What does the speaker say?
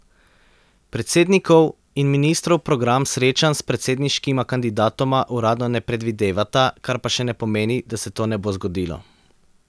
Predsednikov in ministrov program srečanj s predsedniškima kandidatoma uradno ne predvidevata, kar pa še ne pomeni, da se to ne bo zgodilo.